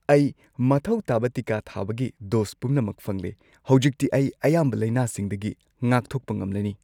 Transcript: ꯑꯩ ꯃꯊꯧ ꯇꯥꯕ ꯇꯤꯀꯥ ꯊꯥꯕꯒꯤ ꯗꯣꯁ ꯄꯨꯝꯅꯃꯛ ꯐꯪꯂꯦ꯫ ꯍꯧꯖꯤꯛꯇꯤ ꯑꯩ ꯑꯌꯥꯝꯕ ꯂꯥꯏꯅꯥꯁꯤꯡꯗꯒꯤ ꯉꯥꯛꯊꯣꯛꯄ ꯉꯝꯂꯅꯤ꯫